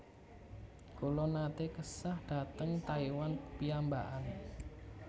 Kula nate kesah dhateng Taiwan piyambakan